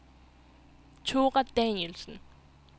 Thora Danielsen